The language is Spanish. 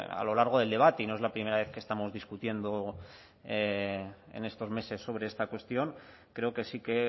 a lo largo del debate y no es la primera vez que estamos discutiendo en estos meses sobre esta cuestión creo que sí que